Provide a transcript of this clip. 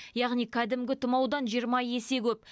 яғни кәдімгі тұмаудан жиырма есе көп